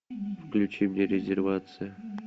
включи мне резервация